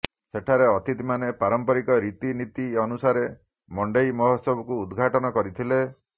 ସେଠାରେ ଅତିଥିମାନେ ପାରମ୍ପରିକ ରୀତିନୀତି ଅନୁସାରେ ମଣ୍ଡେଇ ମହୋତ୍ସବକୁ ଉଦଘାଟନ କରିଥିଲେ